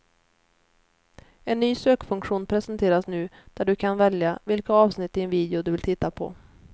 En ny sökfunktion presenteras nu där du kan välja vilka avsnitt i en video du vill titta på.